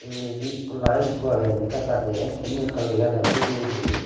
uguredi ikko light ikko agey indi ekka ekka dege undi ekka lega dege dup dup guri.